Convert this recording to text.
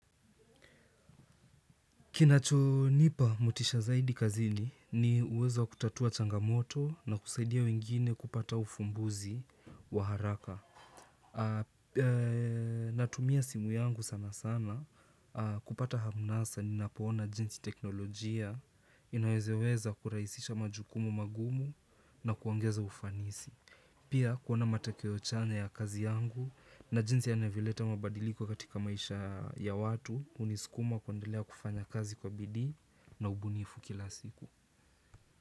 Kinachonipa motisha zaidi kazini ni uwezo wa kutatua changamoto na kusaidia wengine kupata ufumbuzi wa haraka. Natumia simu yangu sana sana kupata hamnasa ninapoona jinsi teknolojia inawezeweza kuraisisha majukumu magumu na kuongeza ufanisi. Pia kuona matakeo chanya ya kazi yangu na jinsi yanavyoleta mabadiliko katika maisha ya watu uniskuma kundelea kufanya kazi kwa bidii na ubunifu kila siku.